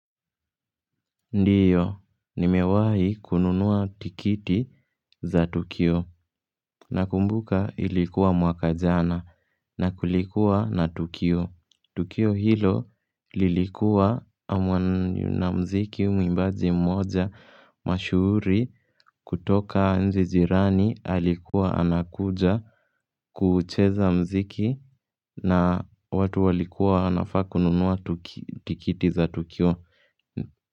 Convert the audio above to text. Ndiyo, nimewahi kununuwa tikiti za tukio nakumbuka ilikuwa mwaka jana na kulikuwa na tukio. Tukio hilo lilikuwa na muziki mwimbaji mmoja mashuhuri kutoka nchi jirani alikuwa anakuja kuucheza muziki na watu walikuwa wanafaa kununua tikiti za tukio.